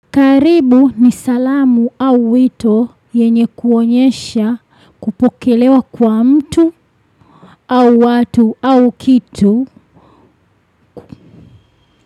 Karibu ni salamu au wito yenye kuonyesha kupokelewa kwa mtu au watu au kitu.